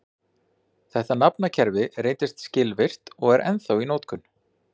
Þetta nafnakerfi reyndist skilvirkt og er ennþá í notkun.